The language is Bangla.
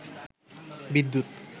বিদ্যুৎ